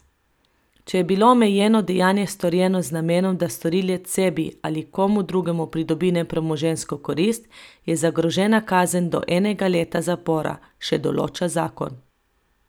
Če je bilo omenjeno dejanje storjeno z namenom, da storilec sebi ali komu drugemu pridobi nepremoženjsko korist, je zagrožena kazen do enega leta zapora, še določa zakon.